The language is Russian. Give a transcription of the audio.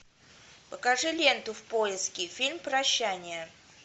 покажи ленту в поиске фильм прощание